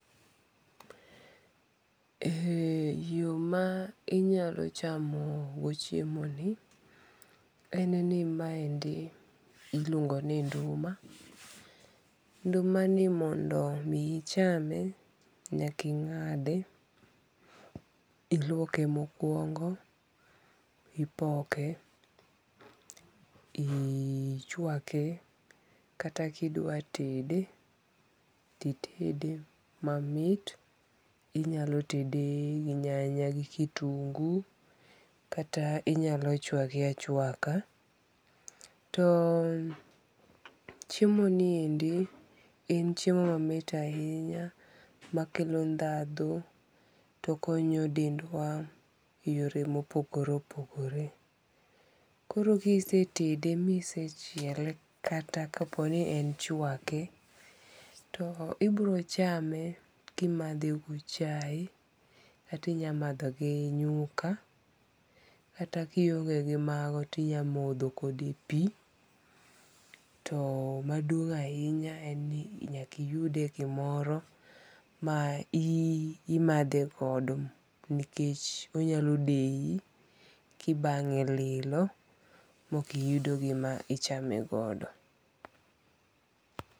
Ee yo ma inyalo chamo go chiemo en ni ma endi iluongo ni nduma, nduma ni mondo mi ichame nyaka ing'ade, iluoke mo okuongo, ipoke, ichawake kata ki idwa twede ti itede mamit. Inyalo tede gi nyanya kata gi kiyungu, kata inaylo chwake achwaka. To chiemo ni endi en chiemo ma mit ahinya ma kelo dhandho to okonyo dendwa e yore ma opogfore opogore. Koro ki isetede, mi isechiele kata ka po ni en chwake, to ibiro chame ki imadhe gi chae kata inya madhe gi nyuka kata ki nionge gi ma go ti inya modho kode pi to maduong' ahinya en ni nyaka iyude e gi moro ma imadhe godo nikech onyalo deyi ki ibang'e lilo ma ok iyudo gi ma ichame godo.